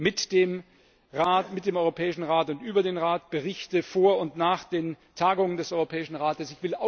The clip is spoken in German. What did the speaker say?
mit dem Rat, mit dem Europäischen Rat und über den Rat, Berichte vor und nach den Tagungen des Europäischen Rates.